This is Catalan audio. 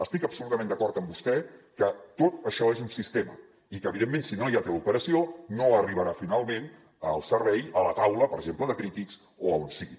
estic absolutament d’acord amb vostè que tot això és un sistema i que evidentment si no hi ha teleoperació no arribarà finalment el servei a la taula per exemple de crítics o a on sigui